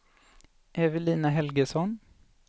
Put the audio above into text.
Evelina Helgesson